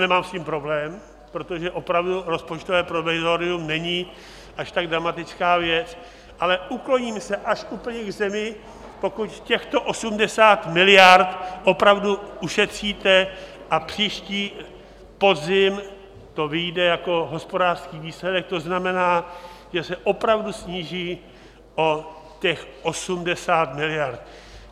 Nemám s tím problém, protože opravdu rozpočtové provizorium není až tak dramatická věc, ale ukloním se až úplně k zemi, pokud těchto 80 miliard opravdu ušetříte a příští podzim to vyjde jako hospodářský výsledek, to znamená, že se opravdu sníží o těch 80 miliard.